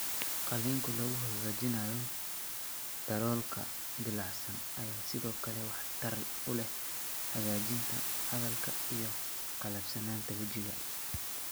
Qaliinka lagu hagaajinayo daloolka dillaacsan ayaa sidoo kale waxtar u leh hagaajinta hadalka iyo qallafsanaanta wejiga.